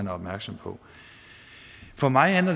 er opmærksom på for mig er